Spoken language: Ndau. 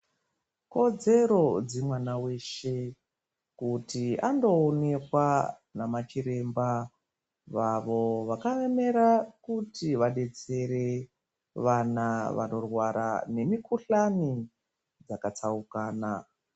Kodzero dzemwana weshe kuti andoonekwa namachiremba vavo vakaemera kuti vadetsere vana vanorwara nemukuhlani yakatsaukana.